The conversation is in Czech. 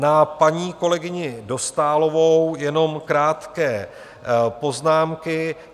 Na paní kolegyni Dostálovou jenom krátké poznámky.